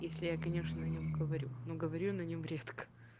если я конечно нем говорю но говорю я на нем редко